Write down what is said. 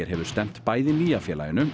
hefur stefnt bæði nýja félaginu